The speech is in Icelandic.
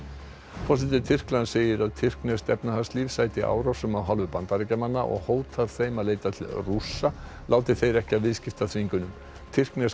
forseti Tyrklands segir að tyrkneskt efnahagslíf sæti árásum af hálfu Bandaríkjamanna og hótar þeim að leita til Rússa láti þeir ekki af viðskiptaþvingunum tyrkneska